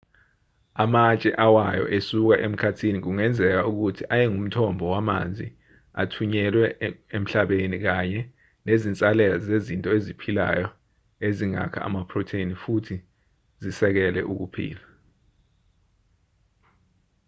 amatshe awayo esuka emkhathini kungenzeka ukuthi ayengumthombo wamanzi athunyelwe emhlabeni kanye nezinsalela zezinto eziphilayo ezingakha amaphrotheni futhi zisekele ukuphila